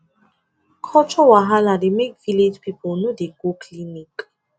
culture wahala dey make village people no dey go clinic